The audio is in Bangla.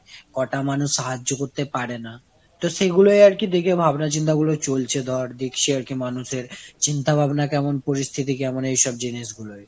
কোটা মানুষ সাহায্য করতে পারে না। তো সেগুলোই র কি দেখে ভাবনা চিন্তা চলছে ধরে দেখছি আর মানুষ এর চিন্তা ভাবনা কেমন, পরিস্থিতি কেমন, এই সব জিনিস গুলোই।